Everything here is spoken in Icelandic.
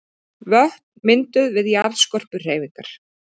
Vötn mynduð við jarðskorpuhreyfingar.